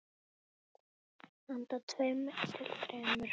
Handa tveimur til þremur